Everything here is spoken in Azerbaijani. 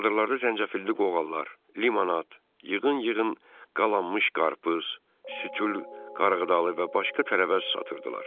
Çadırlarda zəncəfilli qoğallar, limonat, yığın-yığın qalanmış qarpız, sütün, qarğıdalı və başqa tərəvəz satırdılar.